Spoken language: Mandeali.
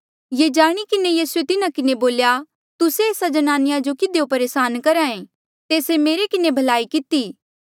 ये जाणी किन्हें यीसूए तिन्हा किन्हें बोल्या तुस्से एस्सा ज्नानिया जो किधियो परेसान करहा ऐें तेस्से मेरे किन्हें भलाई किती